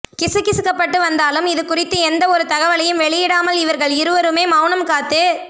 கிசுகிசுக்கப்பட்டு வந்தாலும் இது குறித்து எந்த ஒரு தகவலையும் வெளியிடாமல் இவர்கள் இருவருமே மௌனம் காத்து